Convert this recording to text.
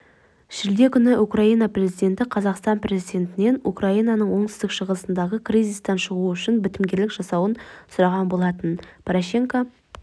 шілде күні украина президенті қазақстан президентінен украинаның оңтүстік-шығысындағы кризистан шығу үшін бітімгерлік жасауын сұраған болатын порошенко